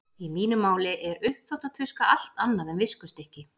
Í mínu máli er uppþvottatuska allt annað en viskustykki.